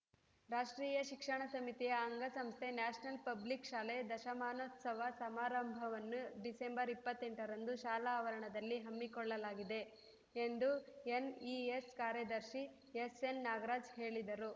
ರಾಷ್ಟ್ರೀಯ ಶಿಕ್ಷಣ ಸಮಿತಿಯ ಅಂಗ ಸಂಸ್ಥೆ ನ್ಯಾಷನಲ್‌ ಪಬ್ಲಿಕ್‌ ಶಾಲೆ ದಶಮಾನೋತ್ಸವ ಸಮಾರಂಭವನ್ನು ಡಿಸೆಂಬರ್ ಇಪ್ಪತ್ತೆಂಟರಂದು ಶಾಲಾ ಆವರಣದಲ್ಲಿ ಹಮ್ಮಿಕೊಳ್ಳಲಾಗಿದೆ ಎಂದು ಎನ್‌ಇಎಸ್‌ ಕಾರ್ಯದರ್ಶಿ ಎಸ್‌ಎನ್‌ನಾಗರಾಜ್‌ ಹೇಳಿದರು